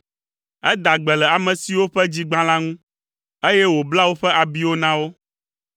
Eda gbe le ame siwo ƒe dzi gbã la ŋu, eye wòbla woƒe abiwo na wo.